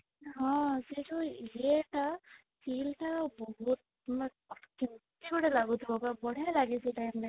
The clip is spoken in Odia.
ହଁ, ସେ ଯାଉ ଇଏ ଟା feel ଟା ବହୁତ ମାନେ କେମିତି ଗୋଟେ ଲାଗୁଥିବା ପୁରା ବଢ଼ିଆ ଲାଗେ ସେ time ରେ